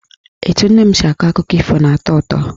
Etu nne m si akọ akụkọ ifo na-atọ ụtọ.